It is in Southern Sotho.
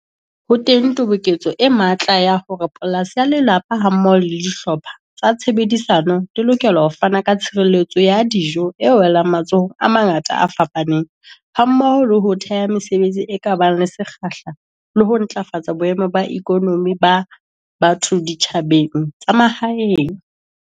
Ho teng toboketso e matla ya hore polasi ya lelapa hammoho le dihlopha tsa tshebedisano di lokela ho fana ka tshireletso ya dijo e welang matsohong a mangata a fapaneng hammoho le ho theha mesebetsi e ka bang le sekgahla le ho ntlafatsa boemo ba ikonomi ba batho ditjhabaneng tsa mahaeng.